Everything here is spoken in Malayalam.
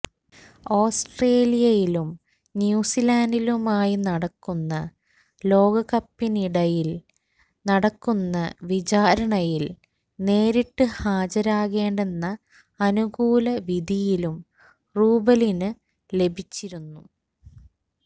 ഓസ്ട്രേലിയയിലും ന്യൂസിലൻഡിലുമായി നടക്കുന്ന ലോകകപ്പിനിടയിൽ നടക്കുന്ന വിചാരണയിൽ നേരിട്ട് ഹാജരേകേണ്ടെന്ന അനുകൂല വിധിയും റൂബലിന് ലഭിച്ചിരുന്നു